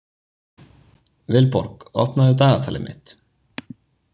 Vilborg, opnaðu dagatalið mitt.